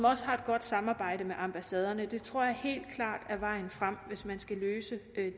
også har et godt samarbejde med ambassaderne det tror jeg helt klar er vejen frem hvis man skal løse